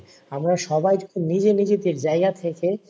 আমরা সবাই যদি নিজে নিজেদের জায়গা থেকে,